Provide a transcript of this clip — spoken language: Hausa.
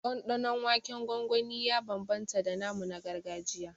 Ɗanɗanon waken gwangwani ya bambamta da namu na gargajiya